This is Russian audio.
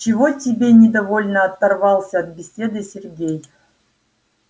чего тебе недовольно оторвался от беседы сергей